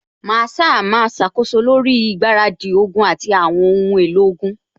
Masaa máa ṣàkóso lórí ìgbáradì ogun àti àwọn ohun èlò ogun